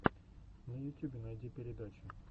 на ютюбе найди передачи